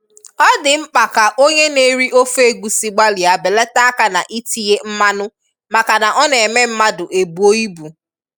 ọ dị mkpa ka onye na-eri ofe egusi gbalịa belata aka n'itinye mmanụ maka na ọ na-eme mmadụ ebuo ibu.